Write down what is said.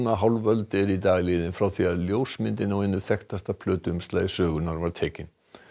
hálf öld er í dag liðin frá því að ljósmyndin á einu þekktasta sögunnar var tekin